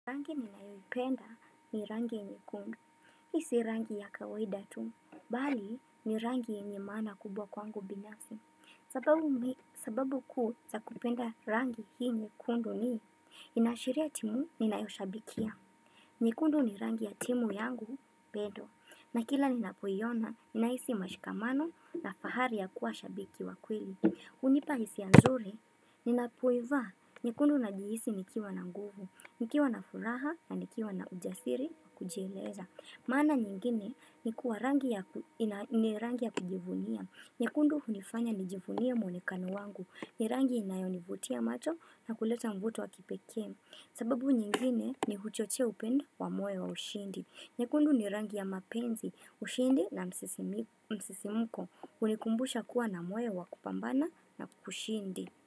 Rangi ninayoipenda ni rangi nyekundu, hii si rangi ya kawaida tu, bali ni rangi yenye maana kubwa kwangu binafsi, sababu kuu za kupenda rangi hii nyekundu ni, inaashiria timu ninayoshabikia. Nyekundu ni rangi ya timu yangu, bedo, na kila ninapoiona, ninahisi mashikamano na fahari ya kuwa shabiki wa kweli. Hunipa hisia nzuri, ninapoiva, nyekundu najihisi nikiwa na nguvu, nikiwa na furaha na nikiwa na ujasiri kujieleza maana nyingine ni kuwa rangi ya kujivunia, nyekundu hunifanya nijivunie mwonekano wangu, ni rangi inayonivutia macho na kuleta mvuto wa kipekee sababu nyingine ni huchochea upendo wa moyo wa ushindi. Nyekundu ni rangi ya mapenzi ushindi na msisimuko. Unikumbusha kuwa na moyo wa kupambana na kushindi.